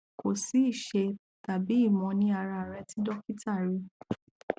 ko si ìṣe tàbí ìmọ ní ara rẹ tí dokita rí